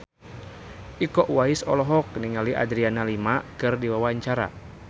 Iko Uwais olohok ningali Adriana Lima keur diwawancara